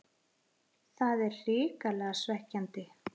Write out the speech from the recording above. Það er hrikalega svekkjandi.